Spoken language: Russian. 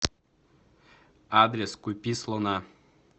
адрес купи слона